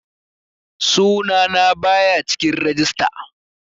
Sunana baya cikin rajista